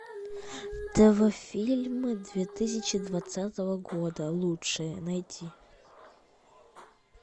тв фильмы две тысячи двадцатого года лучшие найти